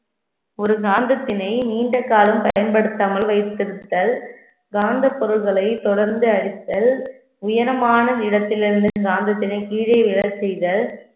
ஒரு காந்தத்தினை நீண்ட காலம் பயன்படுத்தாமல் வைத்திருத்தல் காந்தப் பொருள்களை தொடர்ந்து அழித்தல் உயரமான இடத்திலிருந்து காந்தத்தினை கீழே விழச் செய்தல்